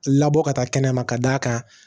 Labɔ ka taa kɛnɛma ka d'a kan